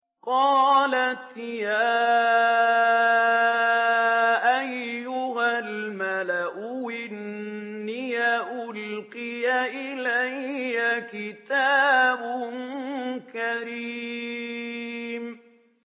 قَالَتْ يَا أَيُّهَا الْمَلَأُ إِنِّي أُلْقِيَ إِلَيَّ كِتَابٌ كَرِيمٌ